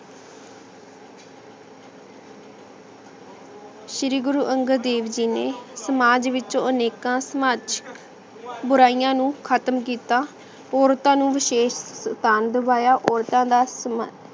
ਸ਼੍ਰੀ ਗੁਰੂ ਅੰਗਦ ਦੇਵ ਜੀ ਨੇ ਸਮਾਜ ਵਿਚ ਅਨੇਕਾਂ ਸਮਾਜਿਕ ਬੁਰਿਯਾਂ ਨੂ ਖਤਮ ਕੀਤਾ ਓਰਤਾਂ ਨੂ ਵਿਸ਼ੇਸ਼ ਓਰਤਾਂ ਦਾ ਸਮਾਂ